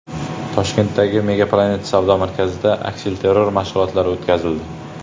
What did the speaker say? Toshkentdagi MegaPlanet savdo markazida aksilterror mashg‘ulotlari o‘tkazildi.